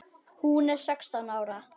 Hún er sextán ára.